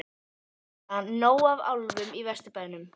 Linda: Nóg af álfum í Vesturbænum?